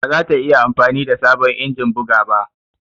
Ba za ta iya amfani da sabon injin buga ba.